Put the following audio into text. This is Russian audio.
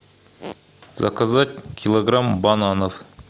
заказать килограмм бананов